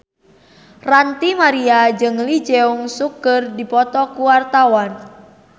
Ranty Maria jeung Lee Jeong Suk keur dipoto ku wartawan